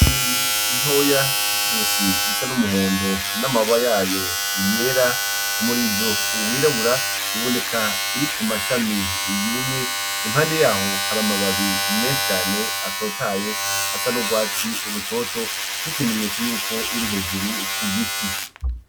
Inyo ni ntoya efise izosi risa n'umuhondo n'amabba yayo yera umurizo uwirabura iboneka iri ku mashami iyumye impande yaho hari amababi mecane atotaye asa n'urwatsi i rutoto nk'ikimenyetso yuko iri hejuru ku giti.